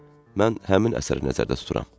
Mən həmin əsəri nəzərdə tuturam.